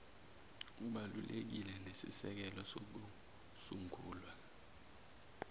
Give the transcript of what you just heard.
ubalulekile nesisekelo sokusungula